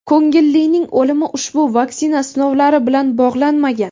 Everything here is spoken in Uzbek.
ko‘ngillining o‘limi ushbu vaksina sinovlari bilan bog‘lanmagan.